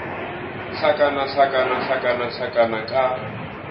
hlakana hlakana hlakana hlakana ka